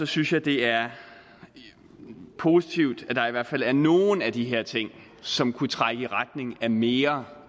synes jeg det er positivt at der i hvert fald er nogle af de her ting som kunne trække i retning af mere